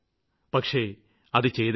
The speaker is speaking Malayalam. പക്ഷേ അത് ചെയ്തേ പറ്റൂ